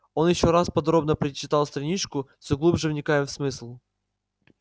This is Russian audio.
он ещё раз подробно перечитал страничку все глубже вникая в смысл